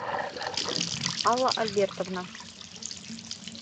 алла альбертовна